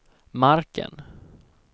marken